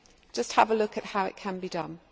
just have a look at how it can be done.